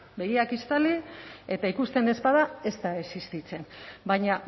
begiak estali eta ikusten ez bada ez da existitzen baina